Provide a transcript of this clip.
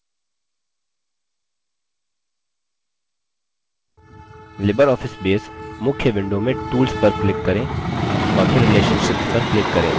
libreoffice base मुख्य window में tools पर click करें और फिर relationships पर click करें